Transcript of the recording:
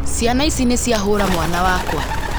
Ciana ici nĩciahũra mwana wakwa